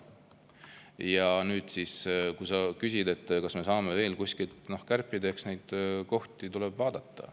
Ja nüüd, kui sa küsid, kas me saame veel kuskilt kärpida – eks neid kohti tuleb vaadata.